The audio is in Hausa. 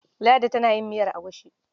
Ladi tana yin miyar agushi.